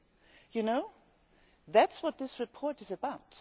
You know that is what this report is about.